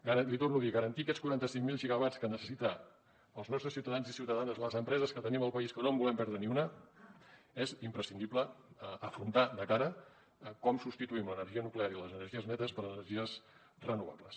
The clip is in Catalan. l’hi torno a dir per garantir aquests quaranta cinc mil gigawatts que necessiten els nostres ciutadans i ciutadanes les empreses que tenim al país que no en volem perdre ni una és imprescindible afrontar de cara com substituïm l’energia nuclear i les energies netes per energies renovables